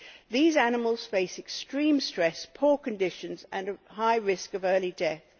These animals face extreme stress, poor conditions and are at a high risk of early death.